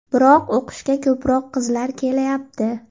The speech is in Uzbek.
Biroq o‘qishga ko‘proq qizlar kelayapti.